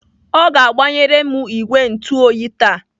Ọ ga-agbanyere m ìgwè ntuoyi taa.